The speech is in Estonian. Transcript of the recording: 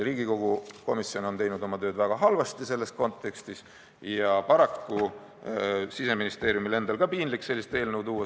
Riigikogu komisjon on teinud oma tööd selles kontekstis väga halvasti ja paraku Siseministeeriumil endal oli ka piinlik sellist eelnõu siia tuua.